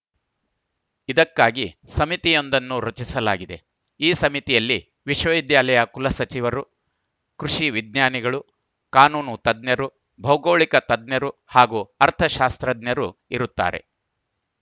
ಇದಕ್ಕಾಗಿ ಸಮಿತಿಯೊಂದನ್ನು ರಚಿಸಲಾಗಿದೆ ಈ ಸಮಿತಿಯಲ್ಲಿ ವಿಶ್ವವಿದ್ಯಾಲಯ ಕುಲಸಚಿವರು ಕೃಷಿ ವಿಜ್ಞಾನಿಗಳು ಕಾನೂನು ತಜ್ಞರು ಭೌಗೋಳಿಕ ತಜ್ಞರು ಹಾಗೂ ಅರ್ಥ ಶಾಸ್ತ್ರಜ್ಞರು ಇರುತ್ತಾರೆ